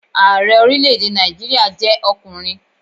Ààrẹ orílẹ̀-èdè Nàìjíríà jẹ́ ọkùnrin